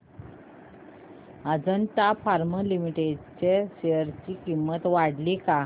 Ajanta pharma limited च्या share ची किंमत वाढली का